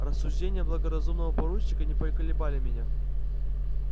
рассуждения благоразумного поручика не поколебали меня